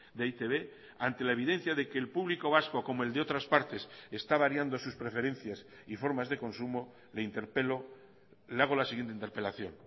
de e i te be ante la evidencia de que el público vasco como el de otras partes está variando sus preferencias y formas de consumo le interpelo le hago la siguiente interpelación